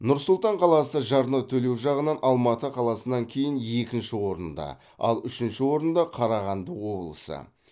нұр сұлтан қаласы жарна төлеу жағынан алматы қаласынан кейін екінші орында ал үшінші орында қарағанды облысы